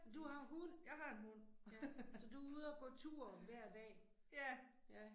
Du har hund. Ja, så du er ude og gå tur hver dag. Ja